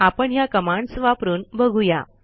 आपण ह्या कमांडस वापरून बघू या